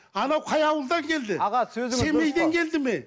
анау қай ауылдан келді семейден келді ме